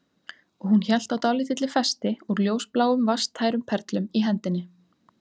Og hún hélt á dálítilli festi úr ljósbláum vatnstærum perlum í hendinni